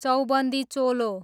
चौबन्दी चोलो